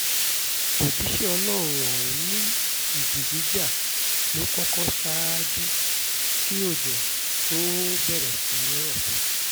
òjíṣẹ́ ọlọ́run ọ̀hún ni ìjì jíjà ló kọ́kọ́ ṣáájú kí òjò tóó bẹ̀rẹ̀ sí í rọ̀